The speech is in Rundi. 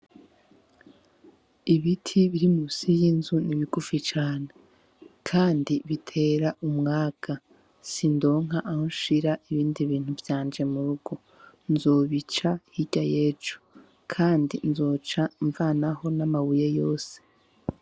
Ibiti biri musi y'inzu ni bigufi cane kandi bitera umwaga sindonka aho nshira ibindi bintu vyanje mu rugo nzobica hirya yejo kandi nzoca mvanaho n' amabuye yose.